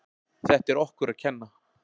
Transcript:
Þetta er okkur að kenna.